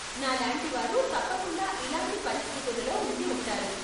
నాలాంటి వారు తప్పకుండా ఇలాంటి పరిస్థితులలో ఉండి ఉంటారు.